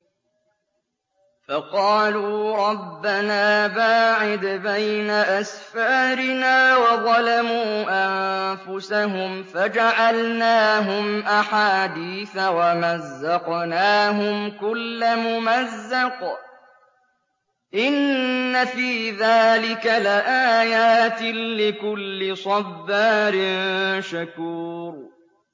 فَقَالُوا رَبَّنَا بَاعِدْ بَيْنَ أَسْفَارِنَا وَظَلَمُوا أَنفُسَهُمْ فَجَعَلْنَاهُمْ أَحَادِيثَ وَمَزَّقْنَاهُمْ كُلَّ مُمَزَّقٍ ۚ إِنَّ فِي ذَٰلِكَ لَآيَاتٍ لِّكُلِّ صَبَّارٍ شَكُورٍ